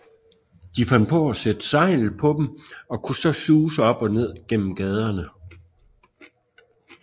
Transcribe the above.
De fandt på at sætte sejl på dem og kunne så suse op og ned gennem gaderne